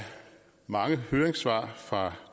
mange høringssvar fra